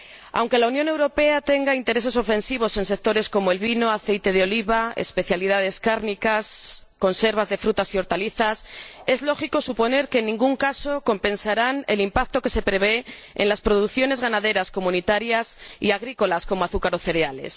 Aunque la Unión Europea tenga intereses ofensivos en sectores como el vino, el aceite de oliva, las especialidades cárnicas o las conservas de frutas y hortalizas, es lógico suponer que, en ningún caso, compensarán el impacto que se prevé en las producciones ganaderas comunitarias, y agrícolas, como el azúcar o los cereales.